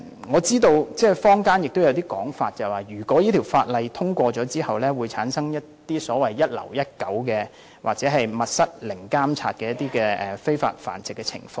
我知道坊間有一種說法，這項修訂規例生效後，便會產生所謂"一樓一狗"或密室零監察的非法繁殖情況。